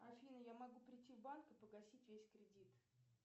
афина я могу придти в банк и погасить весь кредит